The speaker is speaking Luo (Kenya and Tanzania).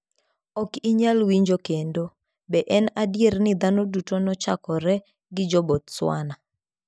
Ok inyal winjo kendo. Be en adier ni dhano duto nochakore gi Jo-Bostwana?